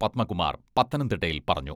പദ്മകുമാർ പത്തനംതിട്ടയിൽ പറഞ്ഞു.